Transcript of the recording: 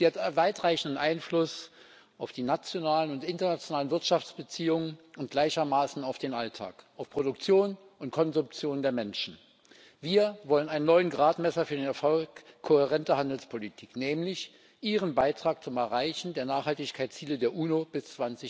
Sie hat weitreichenden Einfluss auf die nationalen und internationalen Wirtschaftsbeziehungen und gleichermaßen auf den Alltag, auf Produktion und Konsumption der Menschen. Wir wollen einen neuen Gradmesser für den Erfolg kohärenter Handelspolitik, nämlich ihren Beitrag zum Erreichen der Nachhaltigkeitsziele der UNO bis